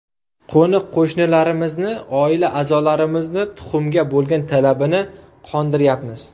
Qo‘ni-qo‘shnilarimizni, oila a’zolarimizni tuxumga bo‘lgan talabini qondiryapmiz.